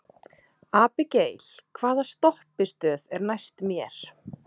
Abigael, hvaða stoppistöð er næst mér?